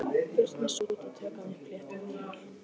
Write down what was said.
Burt með sút og tökum upp léttara hjal.